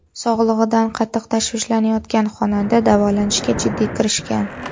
Sog‘lig‘idan qattiq tashvishlanayotgan xonanda davolanishga jiddiy kirishgan.